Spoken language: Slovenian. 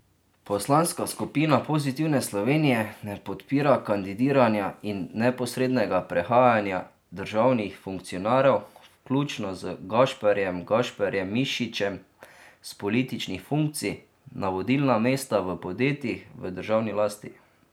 Poslanska skupina Pozitivne Slovenije ne podpira kandidiranja in neposrednega prehajanja državnih funkcionarjev, vključno z Gašparjem Gašparjem Mišičem s političnih funkcij na vodilna mesta v podjetjih v državni lasti.